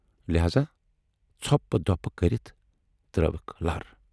لہذا ژھۅپہٕ دۅپہٕ کٔرِتھ ترٲوٕکھ لر۔